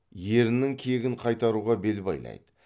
ерінің кегін қайтаруға бел байлайды